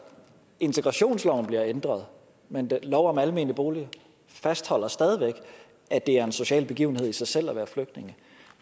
integrationsloven bliver ændret men lov om almene boliger fastholder stadig væk at det er en social begivenhed i sig selv at være flygtning